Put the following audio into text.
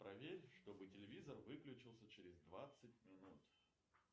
проверь чтобы телевизор выключился через двадцать минут